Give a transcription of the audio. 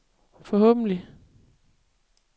forhåbentlig